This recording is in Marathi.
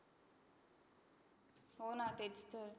हो ना तेच तर.